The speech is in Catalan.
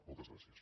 moltes gràcies